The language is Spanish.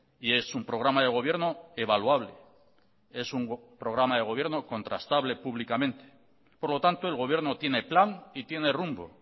y es un programa de gobierno evaluable es un programa de gobierno contrastable públicamente por lo tanto el gobierno tiene plan y tiene rumbo